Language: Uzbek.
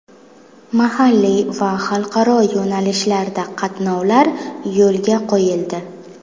Mahalliy va xalqaro yo‘nalishlarda qatnovlar yo‘lga qo‘yildi.